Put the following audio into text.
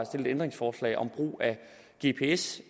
stille et ændringsforslag om brug af gps